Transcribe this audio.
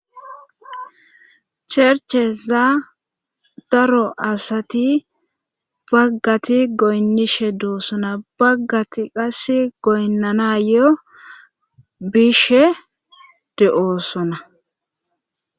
chercheza daro asati baggati goynnishe doo sona baggati qas goynnanayo bishe de7oosona